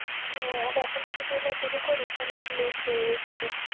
হ্যাঁ আর এখন যদি তুই না শুরু করিস তাহলে একটু late হয়ে ও যাবে